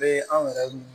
Bee anw yɛrɛ mun